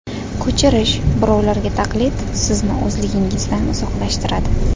Ko‘chirish, birovlarga taqlid sizni o‘zligingizdan uzoqlashtiradi.